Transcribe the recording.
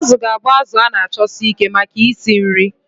Azu ga-abụ azụ a na-achọsi ike maka isi nri.